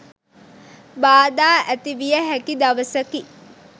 බාධා ඇති විය හැකි දවසකි.